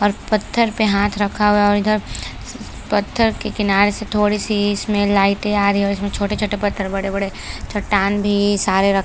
और पत्थर पे हाथ रखा हुआ है और इधर पत्थर के किनारे से थोड़ी सी इसमें लाइटे आ रही है और इसमें छोटे छोटे पत्थर बड़े बड़े चट्टान भी सारे र--